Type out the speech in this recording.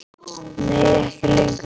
Nei ekki lengur.